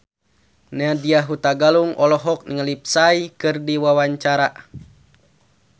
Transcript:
Nadya Hutagalung olohok ningali Psy keur diwawancara